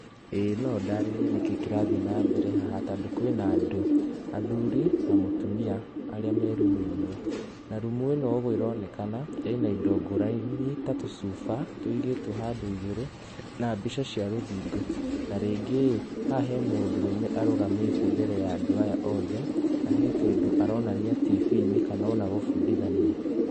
Ĩĩ no ndarĩrie nĩkĩ kĩrathiĩ na mbere haha tondũ kwĩna andũ athuri na mutumia arĩa me rumu ĩmwe, na rumu ĩno ũguo ĩronekana ĩna indo ngũrani ta tũcuba tũigĩtwo handũ igũrũ na mbica cia rũthingo na ningĩ rĩ haha he mũndũrũme arũgamĩte mbere ya andũ aya othe na hekĩndũ aronanua tifiinĩ kana ona gũbundithania.